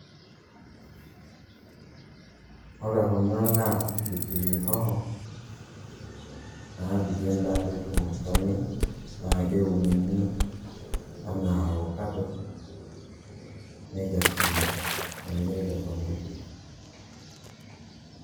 Ore kuna naa pilipili hoho, naapiki endaa peetum olchamei. Na keuni enaa ofakado, nekesuni. Nemiri tesokoni.